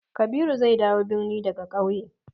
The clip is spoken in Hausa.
Kabiru zai dawo birni daga ƙauye.